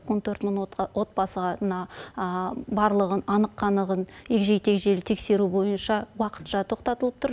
он төрт мың отбасыға мына барлығын анық қанығын егжей тегжейлі тексеру бойынша уақытша тоқтатылып тұр